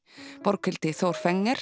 Borghildi Þór